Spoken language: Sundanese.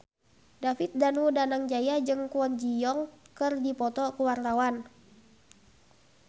David Danu Danangjaya jeung Kwon Ji Yong keur dipoto ku wartawan